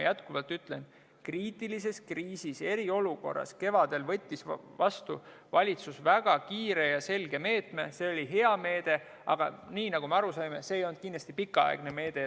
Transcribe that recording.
Jätkuvalt ütlen, et kevadel kriisi ajal, eriolukorras, võttis valitsus vastu väga kiire ja selge meetme, see oli hea meede, aga nagu me aru saime, see ei olnud kindlasti pikaaegne meede.